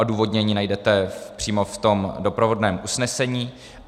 Odůvodnění najdete přímo v tom doprovodném usnesení.